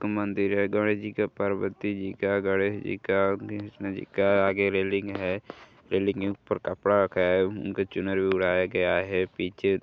का मंदिर है। गणेशजी का पार्वतीजी का गणेशजी का श्रीकृष्णजी का। आगे रेलिंग है। रेलिंग के ऊपर कपड़ा रखा है। उनके चुनरी ओढाया गया है। पीछे --